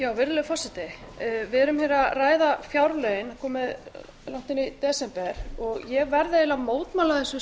að ræða fjárlögin það er komið langt inn í desember og ég verð eiginlega að mótmæla þessu